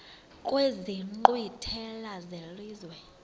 kwezi nkqwithela zelizwe